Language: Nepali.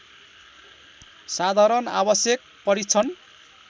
साधारण आवश्यक परीक्षण